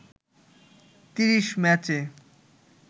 ৩০ ম্যাচে